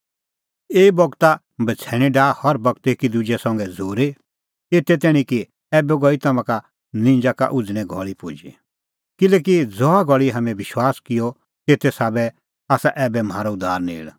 एऊ बगता बछ़ैणीं डाहा हर बगत एकी दुजै संघै झ़ूरी एते तैणीं कि ऐबै गई तम्हां का निंजा का उझ़णै घल़ी पुजी किल्हैकि ज़हा घल़ी हाम्हैं विश्वास किअ त तेते साबै आसा ऐबै म्हारअ उद्धार नेल़